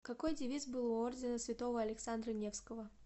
какой девиз был у ордена святого александра невского